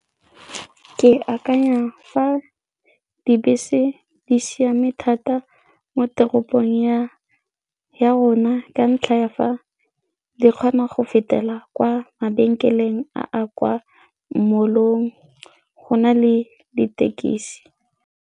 Ke akanya dibese di siame thata mo teropong ya rona ka ntlha ya fa le kgona go fetela kwa mabenkeleng a kwa mall-ong go na le dithekisi.